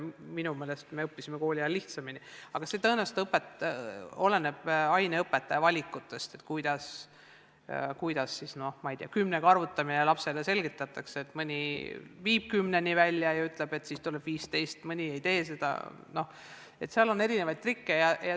Minu meelest meie õppisime koolis omal ajal lihtsamini, aga tõenäoliselt oleneb see kõik aineõpetaja valikust, kuidas näiteks kümne piires arvutamine lapsele selgeks õpetatakse – mõni viib kümneni välja ja ütleb, et siis tuleb 15, mõni seda ei tee, nii et seal on erinevaid trikke.